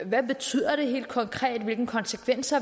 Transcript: hvad det betyder helt konkret hvilke konsekvenser